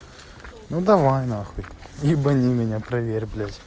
ну давай нахуй ебани меня проверь блять